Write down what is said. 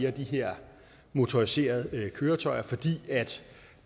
af de her motoriserede køretøjer fordi